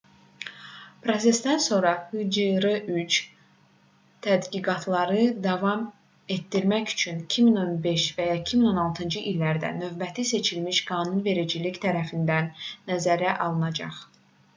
prosesdən sonra hjr-3 tədqiqatları davam etdirmək üçün 2015 və ya 2016-cı illərdə növbəti seçilmiş qanunvericilik tərəfindən nəzərə alınacaq